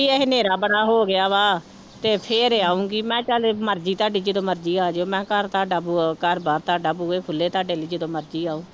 ਇਹ ਹਨੇਰਾ ਬੜਾ ਹੋ ਗਿਆ ਵਾ ਤੇ ਫਿਰ ਆਊਂਗੀ, ਮੈਂ ਚੱਲ ਮਰਜ਼ੀ ਤੁਹਾਡੀ ਜਦੋਂ ਮਰਜ਼ੀ ਆ ਜਾਇਓ, ਮੈਂ ਕਿਹਾ ਘਰ ਤੁਹਾਡਾ ਬੂਹ ਘਰ ਬਾਰ ਤੁਹਾਡਾ ਬੂਹੇ ਖੁੱਲੇ ਤੁਹਾਡੇ ਲਈ ਜਦੋਂ ਮਰਜ਼ੀ ਆਓ।